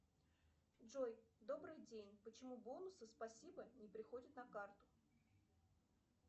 джой добрый день почему бонусы спасибо не приходят на карту